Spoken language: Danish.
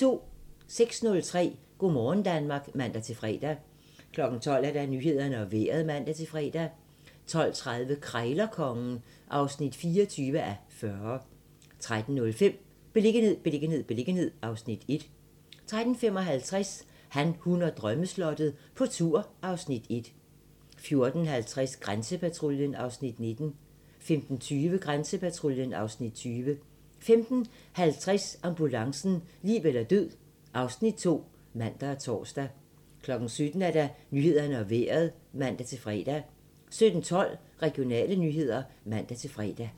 06:30: Go' morgen Danmark (man-fre) 12:00: Nyhederne og Vejret (man-fre) 12:30: Krejlerkongen (24:40) 13:05: Beliggenhed, beliggenhed, beliggenhed (Afs. 1) 13:55: Han, hun og drømmeslottet - på tur (Afs. 1) 14:50: Grænsepatruljen (Afs. 19) 15:20: Grænsepatruljen (Afs. 20) 15:50: Ambulancen - liv eller død (Afs. 2)(man og tor) 17:00: Nyhederne og Vejret (man-fre) 17:12: Regionale nyheder (man-fre)